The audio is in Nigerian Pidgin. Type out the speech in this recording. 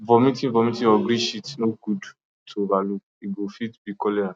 vomiting vomiting or green shit no good to over look e go fit be cholera